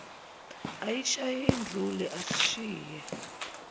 ayishaye izule asishiye